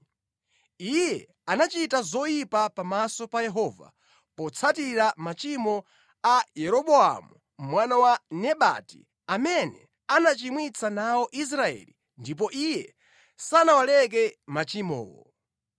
Iye anachita zoyipa pamaso pa Yehova potsatira machimo a Yeroboamu mwana Nebati amene anachimwitsa nawo Israeli ndipo iye sanawaleke machimowo.